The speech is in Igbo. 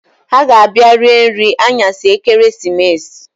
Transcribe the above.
Ha ga-abia rie nri aṅyasị ekeresimesi